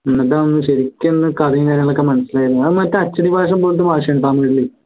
എന്നിട്ടാണ് ശരിക്കുന്ന് കഥയും കാര്യങ്ങളൊക്കെ മനസ്സിലായത് അത് മറ്റേ അച്ചടി ഭാഷ പോലത്തെ ഭാഷയാണ് തമിഴില്